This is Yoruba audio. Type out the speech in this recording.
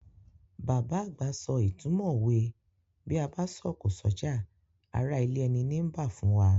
Bàbá àgbà so ìtumọ̀ òwe "Bí a bá sọ̀kò s'ọ́jà, ará ilé ẹni nii bá" fún wa.